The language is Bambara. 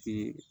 Ti